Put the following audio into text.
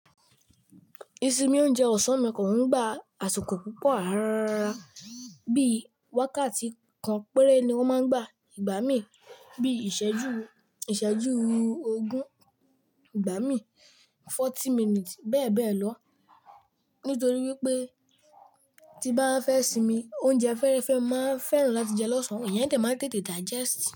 Isinmi ounjẹ ọ̀sán mi kò ń gba àsùkò púpò àràrarà, bíi wákàtí kan péré ni wọ́n máa ń gba ìgbámí bí i ìsẹ́jú, ìsẹ́jú ogún ìgbámí, forty minutes bẹ́ẹ̀ bẹ́ẹ̀ lọ. Nítorí wípé tí n bá fẹ́ sinmi oúnjẹ fẹ́rẹ́fẹ́ máa n fẹ́ràn láti jẹ lọ́sàn-án, ìyẹn de maa n tètè digest.